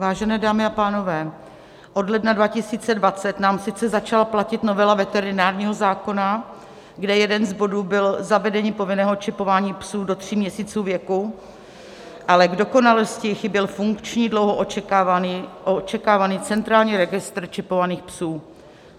Vážené dámy a pánové, od ledna 2020 nám sice začala platit novela veterinárního zákona, kde jeden z bodů byl zavedení povinného čipování psů do tří měsíců věku, ale k dokonalosti chyběl funkční, dlouho očekávaný centrální registr čipovaných psů.